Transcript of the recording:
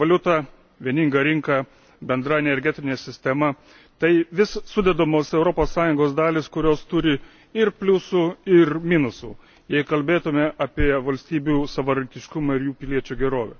Bendra valiuta, bendra rinka, bendra energetinė sistema tai vis sudedamosios Europos Sąjungos dalys, kurios turi ir pliusų, ir minusų, jei kalbėtume apie valstybių savarankiškumą ir jų piliečių gerovę.